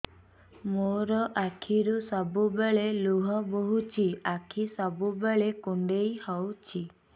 ମୋର ଆଖିରୁ ସବୁବେଳେ ଲୁହ ବୋହୁଛି ଆଖି ସବୁବେଳେ କୁଣ୍ଡେଇ ହଉଚି